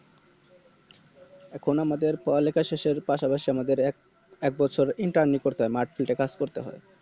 এখন আমাদের পড়ালেখা শেষের পাশাপাশি আমাদের এক~ একবছর Interni করতে হয় মাঠ Field এ কাজ করতে হয়